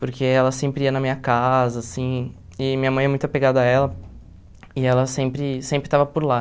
Porque ela sempre ia na minha casa, assim, e minha mãe é muito apegada a ela e ela sempre sempre estava por lá.